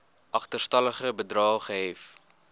agterstallige bedrae gehef